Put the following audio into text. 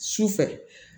Sufɛ